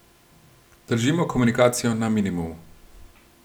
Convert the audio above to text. Držimo komunikacijo na minimumu.